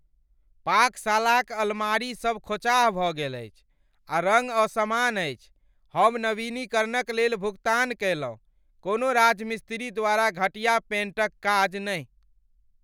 पाकशालाक अलमारीसभ खोँचाह भऽ गेल अछि, आ रङ्ग असमान अछि। हम नवीनीकरणक लेल भुगतान कयलहुँ, कोनो राजमिस्त्री द्वारा घटिया पेंटक काज नहि!